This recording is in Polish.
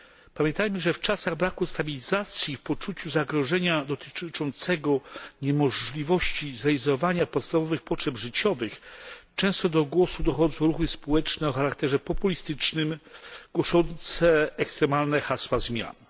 Pamiętajmy, że w czasach braku stabilizacji i w poczuciu zagrożenia dotyczącego niemożliwości zrealizowania podstawowych potrzeb życiowych często do głosu dochodzą ruchy społeczne o charakterze populistycznym, głoszące ekstremalne hasła zmian.